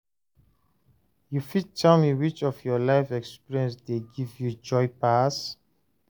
you fit tell me which of your life experiences dey give you joy pass?